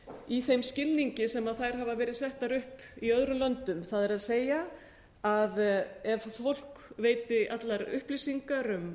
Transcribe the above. í þeim skilningi sem þær hafa verið settar upp í öðrum löndum það er ef fólk veitir allar upplýsingar um